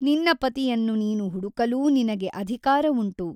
ನಿನ್ನ ಪತಿಯನ್ನು ನೀನು ಹುಡುಕಲೂ ನಿನಗೆ ಅಧಿಕಾರವುಂಟು.